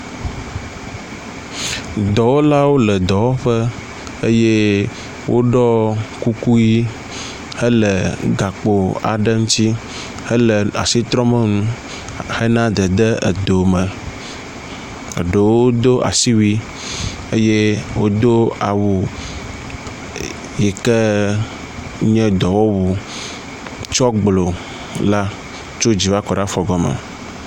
Dɔwɔlawo le dɔwɔƒe eye woɖɔ kuku ʋi hele gakpo aɖe ŋutsi hele asi trɔm enu hena dede edo me. Eɖewo ɖo asiwui eye wodo awu yi ke nye dɔwɔwu tsɔ gblo la tso dzi va kɔ ɖe afɔgɔme.